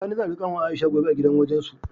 Sani zai auri kanwar Aisha gobe a gidan wajensu.